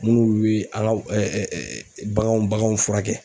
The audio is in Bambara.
Munnu be an ga baganw baganw furakɛ.